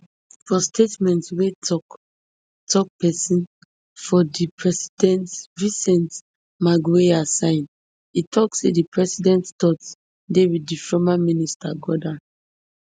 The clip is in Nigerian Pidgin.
for statement wey toktok pesin for di presidency vincent magwenya sign e tok say di president thoughts dey wit di former minister gordhan